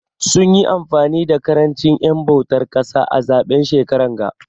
Sun yi amfani da karanchin en bautar kasa a zaben shekaran ga.